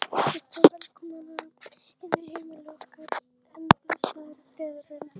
Ekkert var velkomnara inn á heimili okkar en blessaður friðurinn.